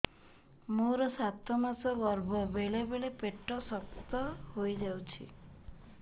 ମୋର ସାତ ମାସ ଗର୍ଭ ବେଳେ ବେଳେ ପେଟ ଶକ୍ତ ହେଇଯାଉଛି